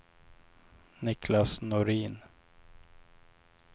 Niklas Norin